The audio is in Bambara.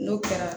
N'o kɛra